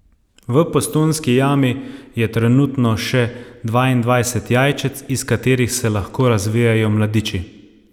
V Postojnski jami je trenutno še dvaindvajset jajčec, iz katerih se lahko razvijejo mladiči.